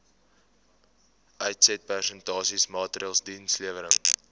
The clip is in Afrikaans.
uitsetprestasie maatreëls dienslewerings